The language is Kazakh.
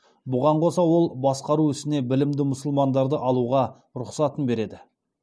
бұған қоса ол басқару ісіне білімді мұсылмандарды алуға рұқсатын береді